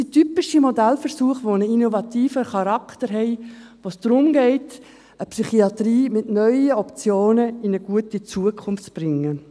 Dies sind typische Modellversuche mit einem innovativen Charakter, wo es darum geht, die Psychiatrie mit neuen Optionen in eine gute Zukunft zu bringen.